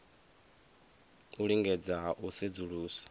u lingedza ha u sedzulusa